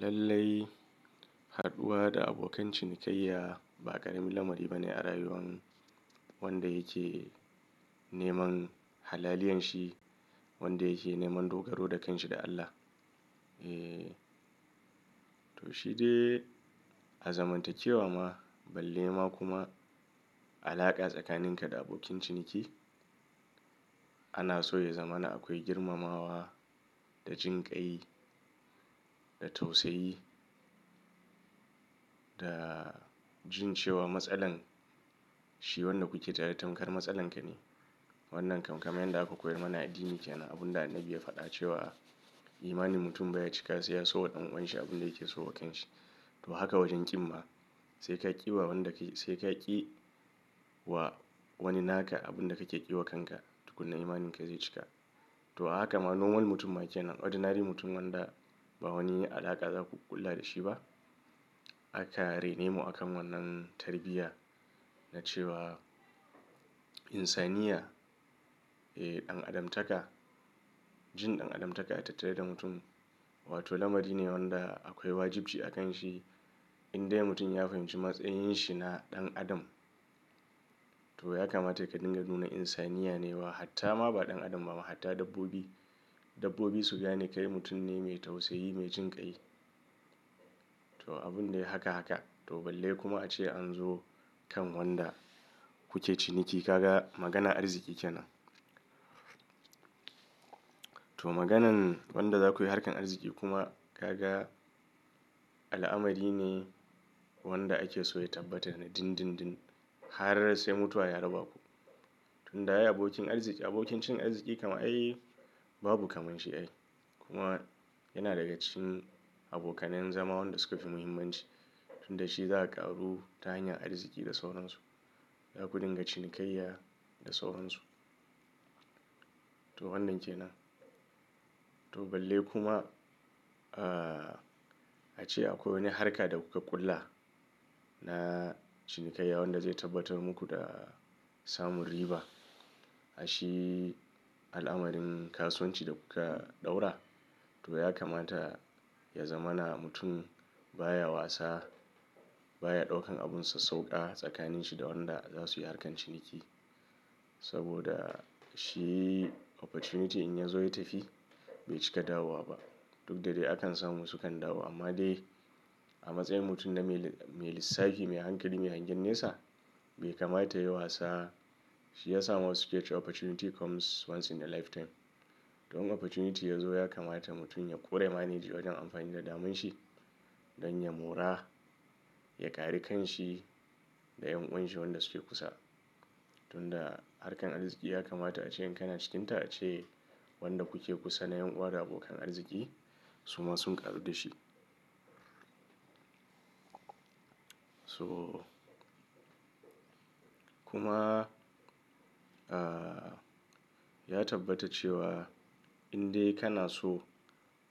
Lallai, haduwa da abokan cinikayya ba ƙaramin lamari ba ne a rayuwar wanda yake neman halaliyan shi, wanda yake neman dogaro da kanshi da Allah. Eh to shi dai a zaman ta kewa ma balle ma kuma alaƙa tsakaninka da abokin ciniki. Ana so ya zama na akwai girmamawa da jinƙai da tausayi da jin cewa matsalar shi wannan kuke tare tamkar matsalan ka ne. Wannan kam kamennan da aka koyar mana a addini ke nan abun da annabi ya faɗa cewa imanin mutum baya cika sai ya so waɗanwansa abun da yake so wa kanshi. To haka wajen ƙin ma sai ka ƙi wa wanda kai sai ka ƙi wa wani naka abun da kake ƙi wa kanka tuku na imaninka zai cika. To a haka ma normal mutum ma ke nan ordinary mutum wanda ba wani alaƙa za ku ƙulla da shi ba aka raine mu akan wannan tarbiyya na cewa insaniya eh ɗan adamtaka. Jin ɗan adamtaka ya tattare da mutum wato lamari ne wanda akwai wajibi a kan shi in dai mutum ya fahimci matsayin shi na ɗan adam. To ya kamata ya kadinga nu na insaniya ne wa hatta ma ba ɗan adam ba ma hatta dabbobi. Dabbobi su gane kai mutum ne mai tausayi, mai jinƙai. To abun ne haka haka to balle kuma ace an zo kan wanda kuke ciniki ka ga maganan arziki ke nan. To maganan wanda za ku yi harkar arziki kuma ka ga al'amari ne wanda ake so ya tabbatar na din din din har sai mutuwa ya raba ku. Tun da ya yi abokin arziki abokin cin arziki kama ai babu kamar shi ai kuma yana daga cikin abokanen zama waɗanda suka fi muhimmanci. Tun da shi za a ƙaru ta hanyar arziki da sauransu. Za ku dinga cinikayya da sauransu. To wannan ke nan. To balle kuma ah ace akwai wani harka da kuka ƙulla na cinikayya wanda zai tabbatar muku da samun riba. Aishi al'amarin kasuwanci da kuka ɗaura to ya kamata ya zama na mutum baya wasa baya ɗaukan abunsa sauƙa tsakanin shi da wanda za su yi harkar ciniki. Saboda shi opportunity in ya zo ya tafi bai cika dawowa ba. Duk da dai akan samu su kan dawo amma dai a matsayin mutum na mai lissafi mai hankali mai hangen nesa bai kamata yayi wasa. Shiyasa wasu kece wa opportunity comes once in a lifetime. To in opportunity ya zo ya kamata mutum ya ƙure ya manegi wajen amfani da daman shi don ya mora ya ƙari kan shi da ƴan uwanashi wanda suke kusa. Tun da harkar arziki ya kamata ace in kana cikin ta ace wanda kuke kusa na ƴan uwa abokan arziki suma sun ƙaru da shi. So kuma ah ya tabbata cewa in dai kana so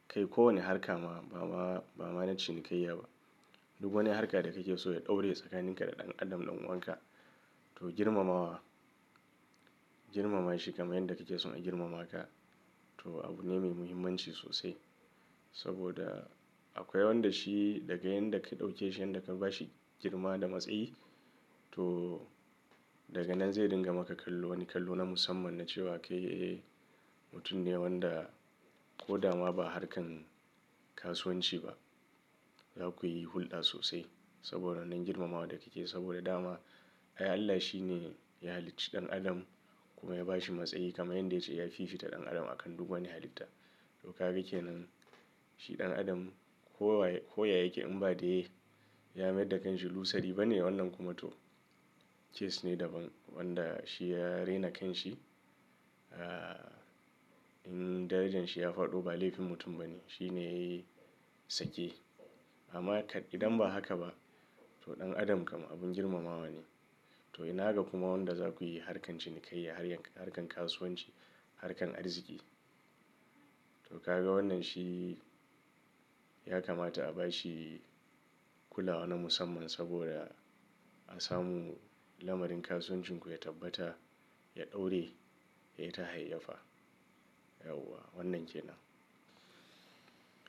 kai ko wane harka ma ba ma ba ma na cinikayya ba duk wani harka da kake so ya ɗore tsakanin ka da ɗan adam ɗan uwanka to girmamawa. Girmama shi kamar yadda kake so a girmama ka to abu ne mai muhimmanci sosai. Saboda akwai wanda shi daga yayinda ka ɗauke shi yayinda ka ba shi girma da matsayi to daga nan zai dinga maka kallo wani kallo na musamman na cewa kai eh mutum ne wanda ko dama ba harkar kasuwanci ba za ku yi hulɗa sosai saboda nan girmamawa da kike saboda dama. Ai Allah shi ne ya halicci ɗan adam kuma ya ba shi matsayi kamar yadda ya ce ya fiffita ɗan adam akan duk wani halitta. To ka gake nan shi ɗan adam kowa koya yake in ba dai ya mayar da kanshi lusari bane wannan kuma to case ne daban wanda shi ya rena kanshi ah in darajan shi ya faɗo ba laifin mutum ba ne. Shi ne sake amma idan ba haka ba to ɗan adam kama abun girmamawa ne. To ina haka kuma wanda za ku yi harkar cinikayya harkar kasuwanci harkar arziki to ka ga wannan shi ya kamata a ba shi kula na musamman saboda a samu lamarin kasuwancin ku ya tabbata ya ɗore ya yi ta hayyafa. Yauwa wannan ke nan.